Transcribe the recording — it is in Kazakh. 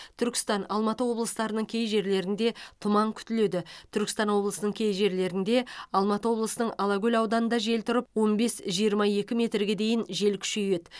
түркістан алматы облыстарының кей жерлерінде тұман күтіледі түркістан облысының кей жерлерінде алматы облысының алакөл ауданында жел тұрып он бес жиырма екі метрге дейін жел күшейеді